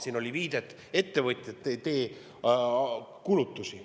Siin kõlas viide, et ettevõtjad ei tee.